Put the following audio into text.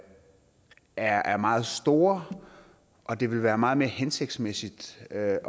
er meget store og det vil være meget mere hensigtsmæssigt at